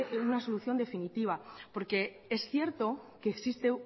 dé una solución definitiva porque es cierto que